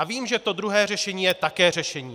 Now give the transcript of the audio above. A vím, že to druhé řešení je také řešení.